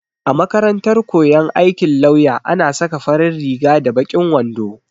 A makarantar koyon aikin lauya ana saka farin riga da baƙin wando.